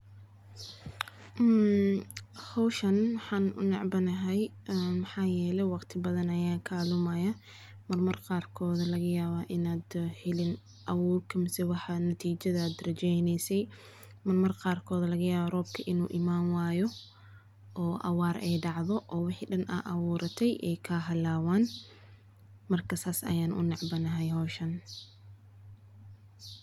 Mmmm hawshan waxaan u necbanahay maxaa yeelay waqti badan ayaa kaalmayaa marmar qaarkood laga yaabaa inaad helin abuurka mise waxaa natiijada darajaynaysay marmar qarkoda laga yaba roobka inuu imaan waayo oo abaar ay dhacdo oo wixii dhan ah abuuratay ee ka halaabaan marka saas aya u nacbana howshan.